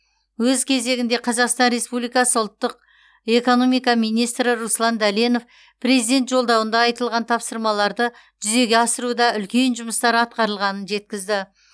өз кезегінде қазақстан республикасы ұлттық экономика министрі руслан дәленов президент жолдауында айтылған тапсырмаларды жүзеге асыруда үлкен жұмыстар атқарылғанын жеткізді